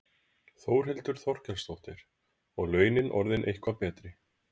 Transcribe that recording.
Þórhildur Þorkelsdóttir: Og launin orðin eitthvað betri?